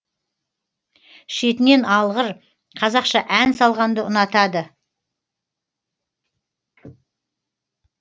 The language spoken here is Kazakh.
шетінен алғыр қазақша ән салғанды ұнатады